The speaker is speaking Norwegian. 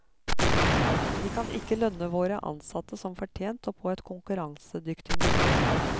Vi kan ikke lønne våre ansatte som fortjent og på et konkurransedyktig nivå.